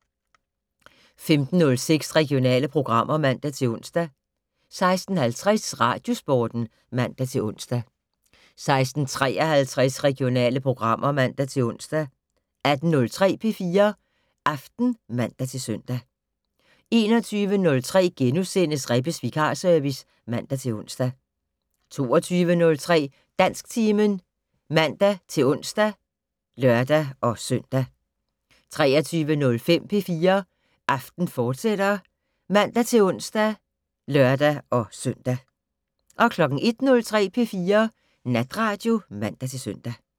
15:06: Regionale programmer (man-ons) 16:50: Radiosporten (man-ons) 16:53: Regionale programmer (man-ons) 18:03: P4 Aften (man-søn) 21:03: Rebbes vikarservice *(man-ons) 22:03: Dansktimen (man-ons og lør-søn) 23:05: P4 Aften, fortsat (man-ons og lør-søn) 01:03: P4 Natradio (man-søn)